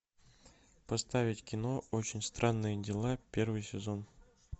поставить кино очень странные дела первый сезон